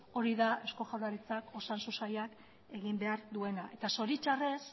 hori da eusko jaurlaritzak osasun sailak egin behar duena zoritxarrez